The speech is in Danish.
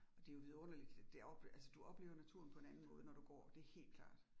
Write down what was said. Og det jo vidunderligt. Derop altså du oplever naturen på en anden måde når du går. Det helt klart